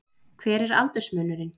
Hver er aldursmunurinn?